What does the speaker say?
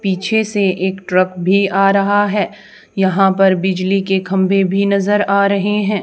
पीछे से एक ट्रक भी आ रहा है यहां पर बिजली के खंभे भी नजर आ रहे हैं।